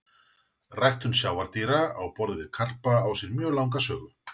Ræktun sjávardýra á borð við karpa á sér mjög langa sögu.